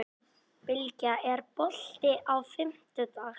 Bylgja, er bolti á fimmtudaginn?